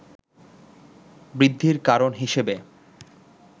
বৃদ্ধির কারণ হিসেবে